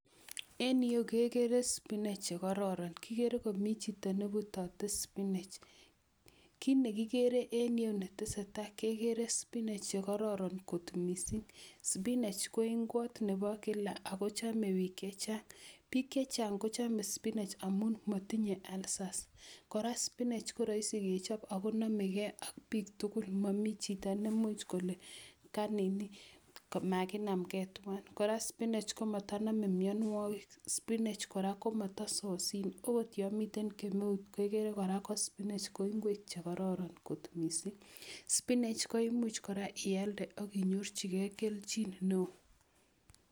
En yu kegere spinach che kororon. Kigere komi chito nebutote spinach. Kit ne kigere en yu netesetai, kegere spinach che kororon kot mising. Spinach ko ingwot nebo kila ago chome biik chechang. Biik chechang kochome spinach amun matinye ulcers. Kora spinach ko raisi kechob ago namegei ak biik tugul momi chito nemuch kole ka nini maginamgei tuwan. Kora spinach komataname mienwogik. Spinach kora ko mata sosin. Agot yo miten kemeut ko igere kora ko spinach ko ingwek che kororon kot mising. Spinach koimuch kora ialde akinyorchigei kelchin neo.